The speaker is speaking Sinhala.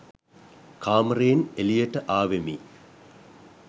කාමරයෙන් එලියට ආවෙමි.